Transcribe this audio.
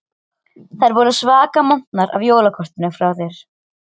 Þær voru svaka montnar af jólakortinu frá þér.